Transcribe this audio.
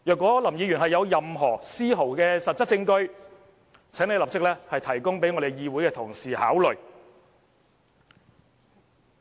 倘若林議員有任何絲毫的實質證據，請立即提供予本會的同事考慮。